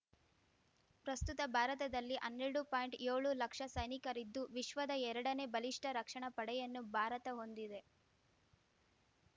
ಪ್ರಸ್ತುತ ಭಾರತದಲ್ಲಿ ಹನ್ನೆರಡು ಪಾಯಿಂಟ್ಯೋಳು ಲಕ್ಷ ಸೈನಿಕರಿದ್ದು ವಿಶ್ವದ ಎರಡನೇ ಬಲಿಷ್ಠ ರಕ್ಷಣಾ ಪಡೆಯನ್ನು ಭಾರತ ಹೊಂದಿದೆ